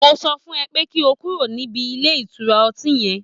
Mo sọ fún ẹ pé kí o kúrò níbi ilé ìtura ọtí yẹn